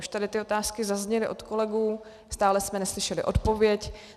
Už tady ty otázky zazněly od kolegů, stále jsme neslyšeli odpověď.